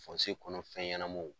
kɔnɔ fɛn ɲɛnamanw